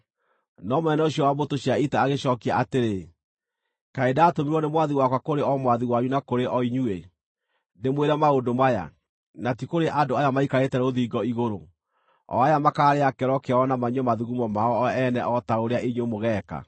No mũnene ũcio wa mbũtũ cia ita agĩcookia atĩrĩ, “Kaĩ ndatũmirwo nĩ mwathi wakwa kũrĩ o mwathi wanyu na kũrĩ o inyuĩ, ndĩmwĩre maũndũ maya, na ti kũrĩ andũ aya maikarĩte rũthingo igũrũ, o aya makaarĩa kĩoro kĩao na manyue mathugumo mao o ene o ta ũrĩa inyuĩ mũgeeka?”